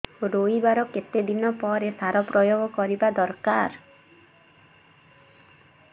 ରୋଈବା ର କେତେ ଦିନ ପରେ ସାର ପ୍ରୋୟାଗ କରିବା ଦରକାର